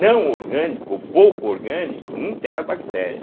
Não orgânico ou pouco orgânico, não tem a bactéria.